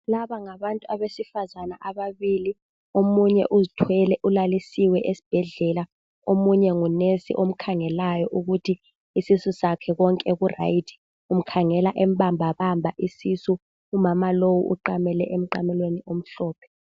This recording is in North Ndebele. Laba ngabantu besifazana ababili. Omunye uzithwele, ulalisiwe esibhedlela. Omunye ngunesi omkhangelayo. Ukuthi isisu sakhe konke kuright. Umkhangela embambabamba isisu, Umama lowu uqamele emqamelweni omhlophe.